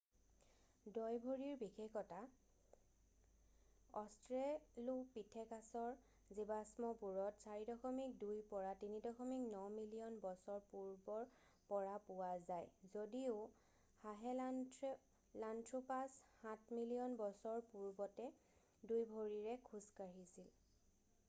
দইভৰিৰ বিশেষতা অষ্ট্ৰেলোপিঠেকাছৰ জীৱাশ্মবোৰত 4.2-3.9 মিলিয়ন বছৰ পূৰ্বৰ পৰা পোৱা যায় যদিও সাহেলাণ্ঠ্ৰোপাছ 7 মিলিয়ন বছৰ পূৰ্বতে 2 ভৰিৰে খোজ কাঢ়িছিল।